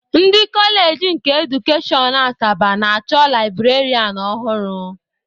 Ndị kọọleji nke edukashọn Asaba na-achọ librarianụ ọhụrụ.